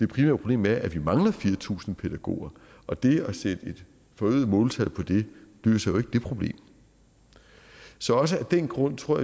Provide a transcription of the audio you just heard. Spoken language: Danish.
problem er at vi mangler fire tusind pædagoger og det at sætte et forøget måltal på det løser ikke det problem så også af den grund tror